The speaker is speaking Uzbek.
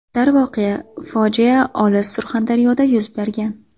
Darvoqe, fojia olis Surxondaryoda yuz bergan.